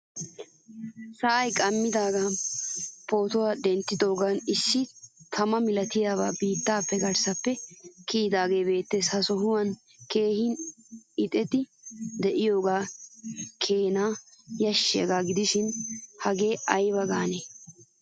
Sa'ay qammidagan pootuwaa denttidogan issi tama milattiyabay biittaa garssappe kiyidage beettees. Ha sohuwaan keehin eexxidi de'iyogene keehin yashiyaga gidishin hagaa ayba gaane?